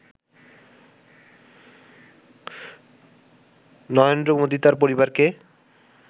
নরেন্দ্র মোদি তাঁর পরিবারকে